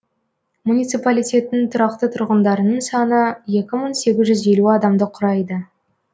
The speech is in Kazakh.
муниципалитеттің тұрақты тұрғындарының саны екі мың сегіз жүз елу адамды құрайды